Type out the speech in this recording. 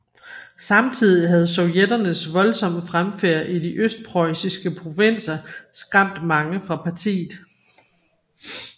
Samtidig havde sovjetternes voldsomme fremfærd i de østpreussiske provinser skræmt mange fra partiet